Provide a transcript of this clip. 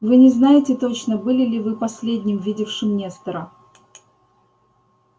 вы не знаете точно были ли вы последним видевшим нестора